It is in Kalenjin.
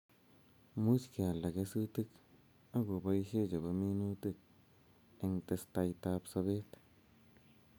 Much kealda kesutik ak kobaishe chebo minutik eng' testaitab sobet